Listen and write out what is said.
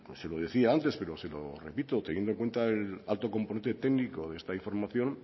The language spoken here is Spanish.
se lo decía antes pero se lo repito teniendo en cuenta el alto componente técnico de esta información